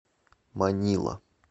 манила